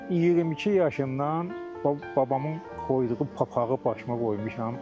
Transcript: Mən 22 yaşımdan babamın qoyduğu papağı başıma qoymuşam.